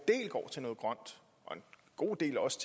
god del også